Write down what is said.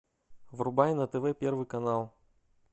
врубай на тв первый канал